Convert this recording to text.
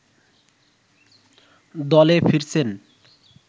দলে ফিরছেন